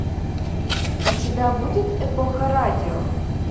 у тебя будет эпоха радио